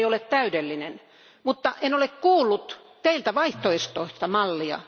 Se ei ole täydellinen, mutta en ole kuullut teiltä vaihtoehtoista mallia.